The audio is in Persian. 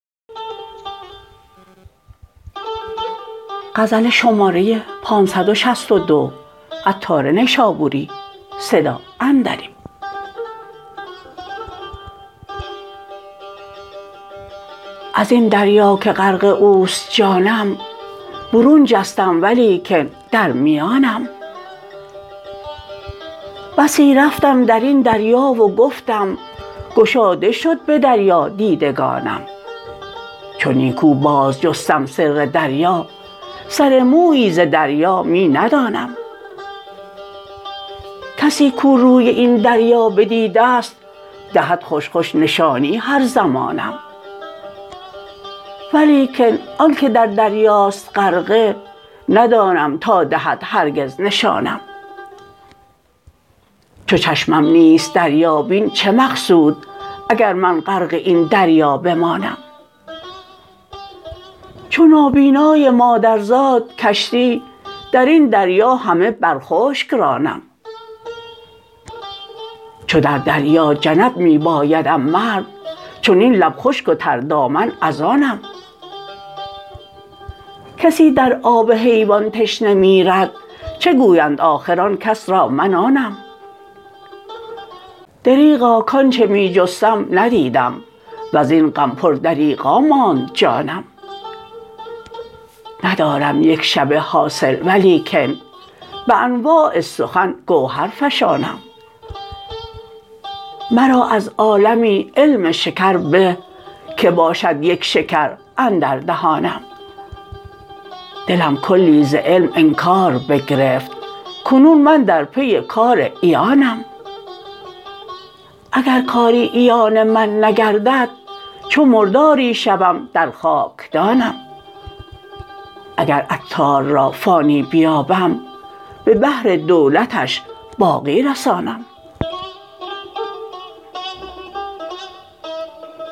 ازین دریا که غرق اوست جانم برون جستم ولیکن در میانم بسی رفتم درین دریا و گفتم گشاده شد به دریا دیدگانم چون نیکو باز جستم سر دریا سر مویی ز دریا می ندانم کسی کو روی این دریا بدید است دهد خوش خوش نشانی هر زمانم ولیکن آنکه در دریاست غرقه ندانم تا دهد هرگز نشانم چو چشمم نیست دریابین چه مقصود اگر من غرق این دریا بمانم چو نابینای مادرزاد کشتی درین دریا همه بر خشک رانم چو در دریا جنب می بایدم مرد چنین لب خشک و تر دامن از آنم کسی در آب حیوان تشنه میرد چه گویند آخر آن کس را من آنم دریغا کانچه می جستم ندیدم وزین غم پر دریغا ماند جانم ندارم یکشبه حاصل ولیکن به انواع سخن گوهر فشانم مرا از عالمی علم شکر به که باشد یک شکر اندر دهانم دلم کلی ز علم انکار بگرفت کنون من در پی کار عیانم اگر کاری عیان من نگردد چو مرداری شوم در خاکدانم اگر عطار را فانی بیابم به بحر دولتش باقی رسانم